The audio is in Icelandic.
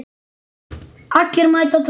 Allir mæta á Torginu